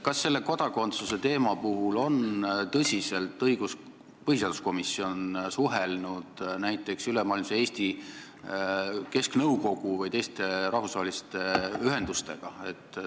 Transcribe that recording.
Aga kas kodakondsuse teema puhul on põhiseaduskomisjon suhelnud näiteks Ülemaailmse Eesti Kesknõukoguga või teiste rahvusvaheliste ühendustega?